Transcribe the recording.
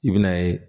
I bɛn'a ye